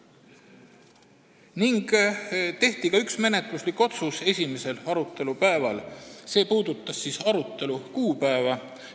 Esimesel arutelupäeval tehti ka üks menetluslik otsus, see puudutas arutelu kuupäeva.